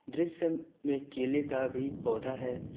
दृश्य में केले का भी पौधा है।